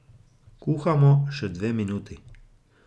Kuhamo še dve minuti.